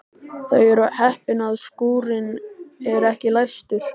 Þau eru heppin að skúrinn er ekki læstur.